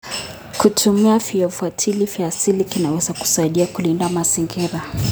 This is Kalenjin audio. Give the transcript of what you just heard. Kutumia viuatilifu vya asili kunaweza kusaidia kulinda mazingira.